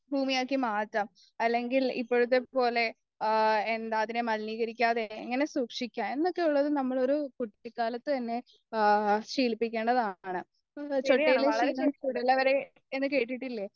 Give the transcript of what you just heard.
ഭൂമിയാക്കിമാറ്റാം അല്ലെങ്കിൽ ഇപ്പോഴത്തെപ്പോലെ ആ എന്താ അതിനെ മലിനീകരിക്കാതെ എങ്ങനെ സൂക്ഷിക്കാം എന്നൊക്കെയുള്ളൊരു നമ്മളൊരു കുട്ടിക്കാലത്തുതന്നെ ആ ശീലിപ്പിക്കേണ്ടതാണ് ചൊട്ടയിലെ ശീലം ചുടലവരെ എന്നു കേട്ടിട്ടില്ലേ